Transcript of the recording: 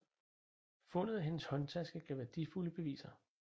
Fundet af hendes håndtaske gav værdifulde beviser